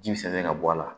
Ji bɛ sɛnɛn ka bɔ a la